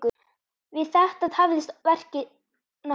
Við þetta tafðist verkið nokkuð.